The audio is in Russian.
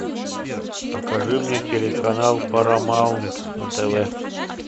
покажи мне телеканал парамаунт на тв